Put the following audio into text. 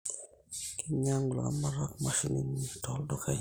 Keinyangu ilaramatak mashinini tooldukain